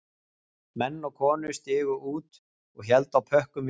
Menn og konur stigu út og héldu á pökkum í fanginu